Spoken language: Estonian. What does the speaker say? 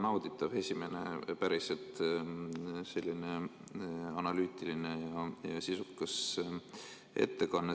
Väga nauditav, esimene päriselt analüütiline ja sisukas ettekanne.